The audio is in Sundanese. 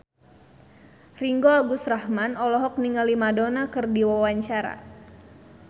Ringgo Agus Rahman olohok ningali Madonna keur diwawancara